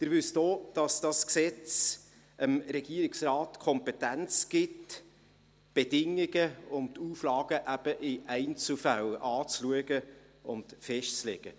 Sie wissen auch, dass dieses Gesetz dem Regierungsrat die Kompetenz gibt, die Bedingungen und die Auflagen eben in Einzelfällen anzuschauen und festzulegen.